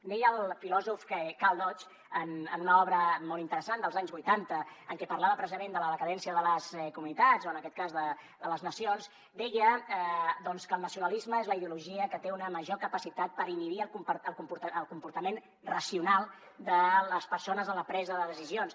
deia el filòsof karl deutsch en una obra molt interessant dels anys vuitanta en què parlava precisament de la decadència de les comunitats o en aquest cas de les nacions que el nacionalisme és la ideologia que té una major capacitat per inhibir el comportament racional de les persones en la presa de decisions